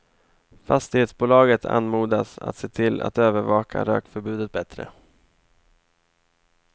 Fastighetsbolaget anmodas att se till att övervaka rökförbudet bättre.